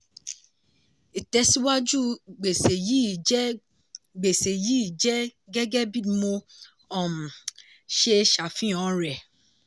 ìtẹ̀síwájú gbèsè yìí jẹ́ gbèsè yìí jẹ́ gẹ́gẹ́ bí mo um ṣe ṣàfihàn rẹ̀.